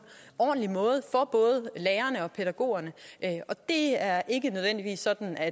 ordentlig måde for både lærerne og pædagogerne det er ikke nødvendigvis sådan at